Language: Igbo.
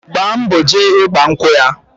Gba mbo jee igba nkwụ ya.